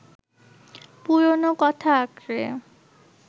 পুরনো কথা আঁকড়ে